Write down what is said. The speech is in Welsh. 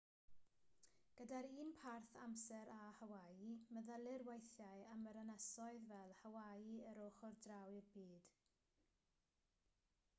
gyda'r un parth amser â hawaii meddylir weithiau am yr ynysoedd fel hawaii yr ochr draw i'r byd